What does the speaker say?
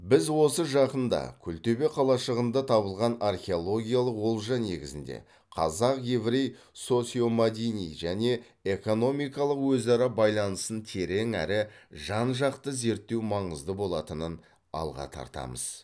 біз осы жақында күлтөбе қалашығында табылған археологиялық олжа негізінде қазақ еврей социомәдени және экономикалық өзара байланысын терең әрі жан жақты зерттеу маңызды болатынын алға тартамыз